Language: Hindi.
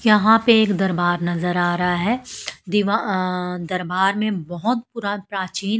यहां पे एक दरबार नजर आ रहा है दीवा दरबार में बहुत पुरा प्राचीन--